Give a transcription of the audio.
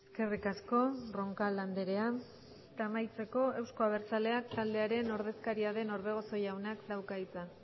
eskerrik asko roncal andrea eta amaitzeko euzko abertzaleak taldearen ordezkaria den orbegozo jaunak dauka hitza